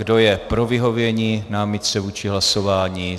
Kdo je pro vyhovění námitce vůči hlasování?